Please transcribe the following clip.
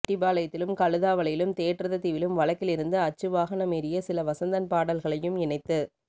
செட்டிபாளையத்திலும் கழுதாவளையிலும் தேற்றததீவிலும் வழக்கிலிருந்து அச்சு வாகனமேறிய சில வசந்தன் பாட்ல்களையும் இணைத்து